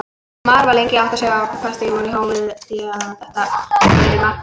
Maður var lengi að átta sig á því hvort þetta hafi verið mark eða ekki.